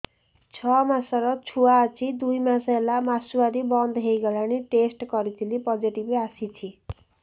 ଛଅ ମାସର ଛୁଆ ଅଛି ଦୁଇ ମାସ ହେଲା ମାସୁଆରି ବନ୍ଦ ହେଇଗଲାଣି ଟେଷ୍ଟ କରିଥିଲି ପୋଜିଟିଭ ଆସିଛି